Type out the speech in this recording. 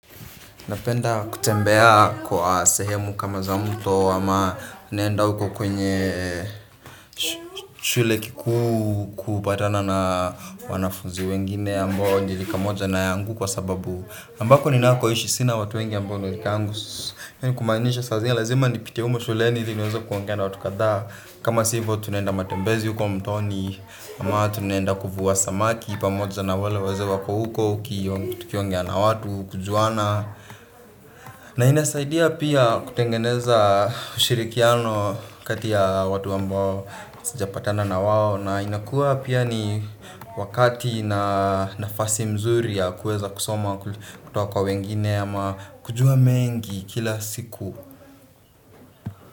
Napenda kutembea kwa sehemu kama za mto ama naenda uko kwenye shule kikuu kupatana na wanafunzi wengine ambao ni rika moja na yangu kwa sababu ambako ninako hishi sina watu wengi ambao ni rika yangu kumanisha saa zingine lazima nipite umo shule ili niweze kuongea na watu kadha kama sivyo tunaenda matembezi uko mtoni ama tunaenda kuvua samaki pamoja na wale wazee wako huko tukiongea na watu kujuana. Na inasaidia pia kutengeneza ushirikiano kati ya watu ambao sijapatana na wawo. Na inakuwa pia ni wakati na nafasi mzuri ya kuweza kusoma kutoka kwa wengine ama kujua mengi kila siku.